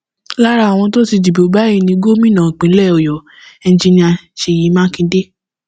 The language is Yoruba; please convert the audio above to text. lára àwọn tó ti dìbò báyìí ni gómìnà ìpínlẹ ọyọ enjinnnia ṣèyí mákindè